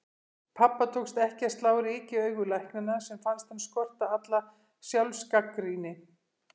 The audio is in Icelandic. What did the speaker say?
Pabba tókst ekki að slá ryki í augu læknanna sem fannst hann skorta alla sjálfsgagnrýni.